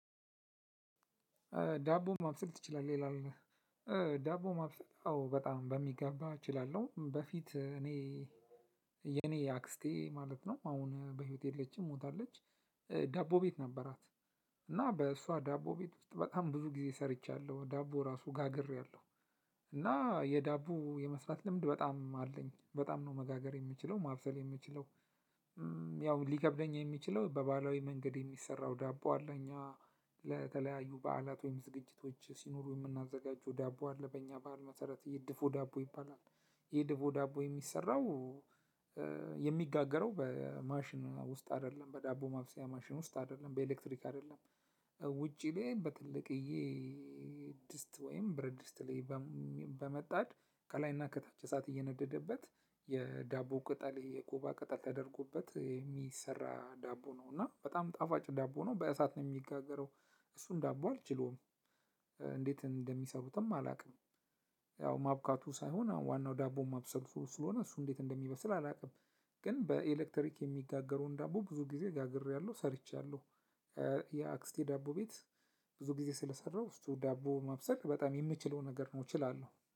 ዳቦ ማብሰል ትችላለህ ይላል? ዳቦ ማብሰል አዎ በጣም በሚገባ እችላለሁ በፊት እኔ የኔ አክስቴ ማለት ነው አሁን በህይወቴ የለችም ሞታለች። ዳቦ ቤት ነበራት። እና በእሷ ዳቦ ቤት ውስጥ በጣም ብዙ ጊዜ ሰርቻለሁ ዳቦ ራሱ ጋግሬያለሁ። እና የዳቦ የመስራት ልምድ በጣም አለኝ በጣም ነው መጋገር የምችለው ማብሰል የምችለው። ያው ሊከብደኝ የሚችለው በባህላዊ መንገድ የሚሰራው ዳቦ አለ እኛ። ለተለያዩ በዓላት ወይም ዝግጅቶች ሲኖሩ የምናዘጋጀው ዳቦ አለ በኛ ባህል መሰረት ይህ ድፎ ዳቦ ይባላል። ይህ ድፎ ዳቦ የሚሰራው። የሚጋገረው በማሽን ውስጥ አይደለም በዳቦ ማብሰያ ማሽን ውስጥ አይደለም በኤሌክትሪክ አይደለም። ውጪ ላይ በትልቅዬ ድስት ወይም ብረት ድስት ላይ በመጣድ ከላይና ከታች እሳት እየነደደበት የዳቦ ቅጠል የኮባ ቅጠል ተደርጎበት የሚሰራ ዳቦ ነው። እና በጣም ጣፋጭ ዳቦ ነው። በእሳት ነው የሚጋገረው። እሱን ዳቦ አልችለውም። እንዴት እንደሚሰሩትም አላውቅም። ያው ማብካቱ ሳይሆን ዋናው ዳቦ ማብሰሉ ስለሆነ እሱ እንዴት እደሚበስል አላውቅም። ግን በኤሌክትሪክ የሚነጋገረውን ዳቦ ብዙ ጊዜ ጋግሪያለሁ ሰርቻለሁ። የአክስቴ ዳቦ ቤት። ብዙ ጊዜ ስለሰራሁ እሱ ዳቦ ማብሰል በጣም የምችለው ነገር ነው እችላለሁ